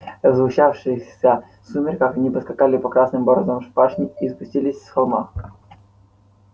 в сгущавшихся сумерках они поскакали по красным бороздам пашни и спустившись с холма